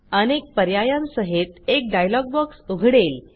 अनेक पर्यायांसहित एक डायलॉग बॉक्स उघडेल